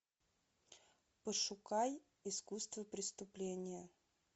пошукай искусство преступления